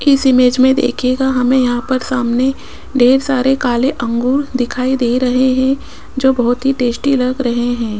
इस इमेज में देखिएगा हमें यहां पर सामने ढेर सारे काले अंगूर दिखाई दे रहे हैं जो बहोत ही टेस्टी लग रहे हैं।